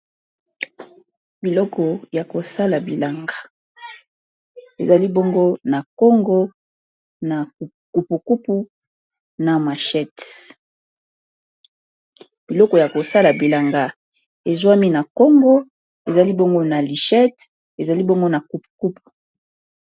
Biloko ya kosala bilanga, ezali bongo na kongo na kupu kupu na machete. Biloko ya kosala bilanga esuami na kongo, ezali bongo n'a lichette, ezali bongo n'a kupu kupu.